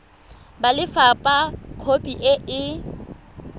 ba lefapha khopi e e